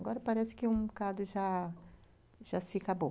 Agora parece que um bocado já já se acabou.